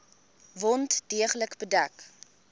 wond deeglik bedek